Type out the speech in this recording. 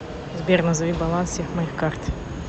сбер назови баланс всех моих карт